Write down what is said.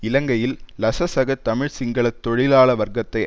இலங்கையில் லசசக தமிழ் சிங்கள தொழிலாள வர்க்கத்தை